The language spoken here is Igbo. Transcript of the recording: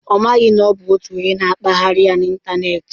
Ọ maghị na ọ bụ otu onye na-akpagharị ya n'ịntanetị.